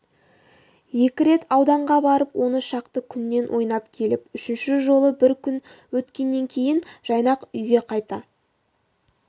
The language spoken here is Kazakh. екі рет ауданға барып он шақты күннен ойнап келіп үшінші жолы бір күн өткеннен кейін жайнақ үйге қайта